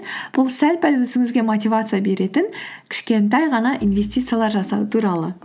бұл сәл пәл өзіңізге мотивация беретін кішкентай ғана инвестициялар жасау туралы